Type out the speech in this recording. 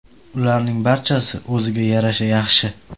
Ularning barchasi o‘ziga yarasha yaxshi.